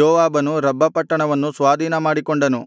ಯೋವಾಬನು ರಬ್ಬ ಪಟ್ಟಣವನ್ನು ಸ್ವಾಧೀನಮಾಡಿಕೊಂಡನು